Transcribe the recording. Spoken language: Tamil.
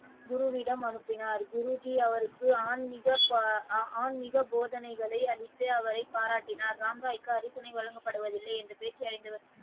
குருவிடம் அனுப்பினார் குருஜி அவருக்கு ஆன்மீக ஆன்மிக போதனைகளை அளித்து அவரை பாராட்டினார் ராமராய்க்கு அரசனை வழங்கப்படுவதில்லை என்று பேச்சு ,